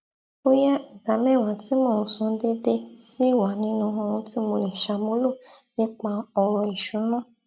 bóyá ìdàmẹwàá tí mò n san déédéé ṣì wà nínú ohun tí mo le ṣàmúlò nipa ọrọ ìṣúnná